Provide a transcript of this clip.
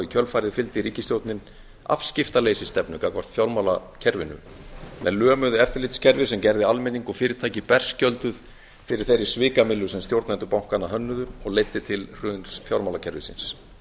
kjölfarið fylgdi ríkisstjórnin afskiptaleysisstefnu gagnvart fjármálakerfinu með lömuðu eftirlitskerfi sem gerði almenning og fyrirtæki berskjölduð fyrir þeirri svikamyllu sem stjórnendur bankanna hönnuðu og leiddi til hruns fjármálakerfisins